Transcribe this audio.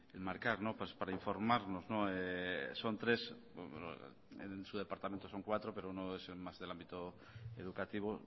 enmarcar para informarnos son tres en su departamento son cuatro pero uno es más del ámbito educativo